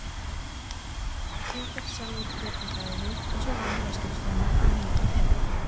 Peter sjálfur prédikaði og svo vann ég á skrifstofunni frá níu til fimm.